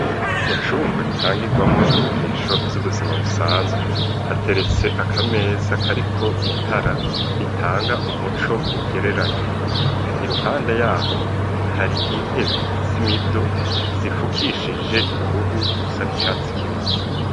Mu cumba gitangigwamo inyigisho z'ubuzima busanzwe hateretse akameza kariko itara ritanga umuco ugereranye, iruhanda yaho hari intebe simido zifukishije uruhu rusa n'icatsi kibisi.